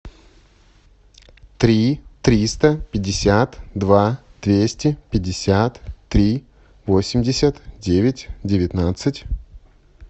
три триста пятьдесят два двести пятьдесят три восемьдесят девять девятнадцать